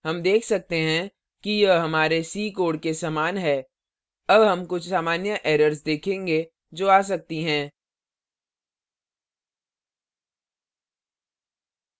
हम देख सकते हैं कि यह हमारे c कोड के समान है अब हम कुछ सामान्य एरर्स देखेंगे जो आ सकती हैं